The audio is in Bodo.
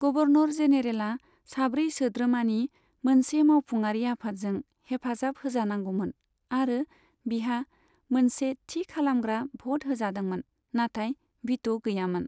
गभर्नर जेनेरेला साब्रै सोद्रोमानि मोनसे मावफुङारि आफादजों हेफाजाब होजानांगौमोन आरो बिहा मोनसे थि खालामग्रा भ'त होजादोंमोन नाथाय भिट' गैयामोन।